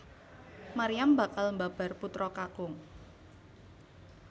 Maryam bakal mbabar putra kakung